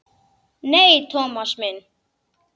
Nei, Thomas minn.